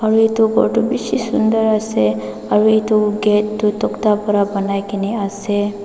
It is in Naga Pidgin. etu ghor tu bishi sundor ase aru etu gate tu tokta para banai ke ne ase.